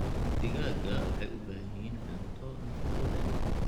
Digaagga waxay u baahan yihiin cunto nafaqo leh.